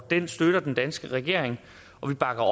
den støtter den danske regering og vi bakker